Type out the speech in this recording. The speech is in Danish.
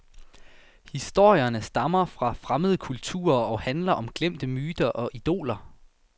Historierne stammer fra fremmede kulturer og handler om glemte myter og idoler.